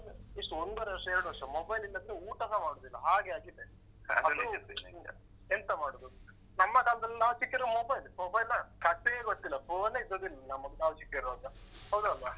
ಎಷ್ಟು ಒಂದೂವರೆ ವರ್ಷ ಎರಡು ವರ್ಷ mobile ಇಲ್ಲಾಂದ್ರೆ ಊಟಸ ಮಾಡುದಿಲ್ಲ ಹಾಗೆ ಆಗಿದೆ ಅದು ಎಂತ ಮಾಡುದು? ನಮ್ಮ ಕಾಲದಲ್ಲಿ ನಾವ್ ಚಿಕ್ಕದಿರವಾಗ mobile. mobile ಕಥೆಯೇ ಗೊತ್ತಿಲ್ಲ. phone ಏ ಇದ್ದದಿಲ್ಲ ನಮ್ಗೆ ನಾವ್ ಚಿಕ್ಕದಿರವಾಗ ಹೌದಾ ಅಲ್ವಾ?